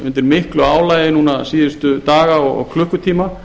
undir miklu álagi daga og klukkutíma